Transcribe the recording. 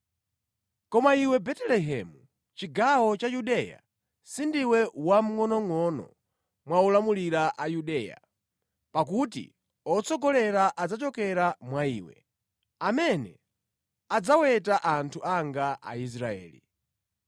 “ ‘Koma iwe Betelehemu, chigawo cha Yudeya, sindiwe wamngʼonongʼono mwa olamulira a Yudeya; pakuti otsogolera adzachokera mwa iwe, amene adzaweta anthu anga Aisraeli.’ ”